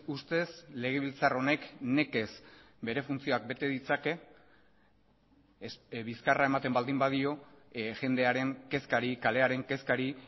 ustez legebiltzar honek nekez bere funtzioak bete ditzake bizkarra ematen baldin badio jendearen kezkari kalearen kezkari